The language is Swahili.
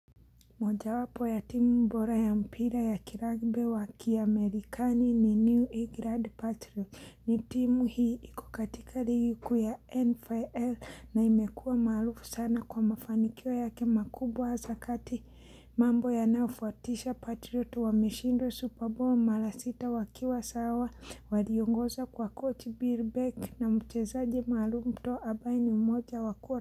Mojawapo ya timu bora ya mpira ya kiragbi wa kiamerikani ni New England Patriot. Ni timu hii iko katika ligi kuu ya NFL na imekua maarufu sana kwa mafanikio yake makubwa hasa kati. Mambo yanayofuatisha Patriot wameshindwa Super Bowl mara sita wakiwa sawa. Waliongozwa kwa kochi Birbeck na mchezaje maalum Tom ambaye ni mmoja wakua.